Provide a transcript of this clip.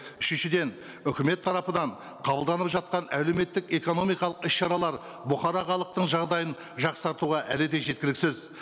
үшіншіден үкімет тарапынан қабылданып жатқан әлеуметтік экономикалық іс шаралар бұқара халықтың жағдайын жақсартуға әлі де жеткіліксіз